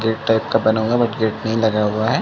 Gate type का बना हुआ है बाकि गेट नहीं लगा हुआ है।